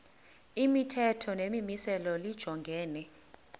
imithetho nemimiselo lijongene